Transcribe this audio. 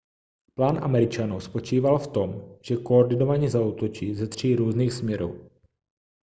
plán američanů spočíval v tom že koordinovaně zaútočí ze tří různých směrů